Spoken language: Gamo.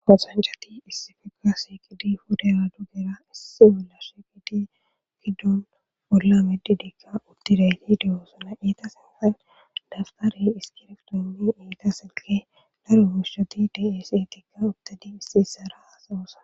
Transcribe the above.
Qosancati issifiga sheqidi fudera dugera issi olla sheqidi giddun ollamedidikka uttireyhideosana eetasenfan dabgarey iskireqdoni iita silke daro guushshati daese tikka uttadi issi isara asawosana